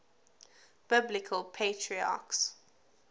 biblical patriarchs